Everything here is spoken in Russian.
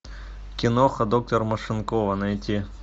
киноха доктор машинкова найти